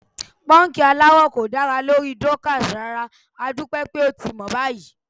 Pọ́ńkì aláwọ̀ kò dára lórí Dorcas rárá, adúpẹ́ pé ó ti mọ̀ báyìí.